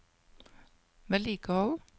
vedlikehold